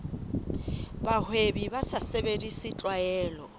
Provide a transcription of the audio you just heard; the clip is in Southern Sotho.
bahwebi ba sa sebedise tlwaelo